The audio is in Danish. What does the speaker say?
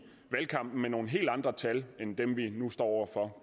valgkampen med nogle helt andre tal end dem vi nu står over for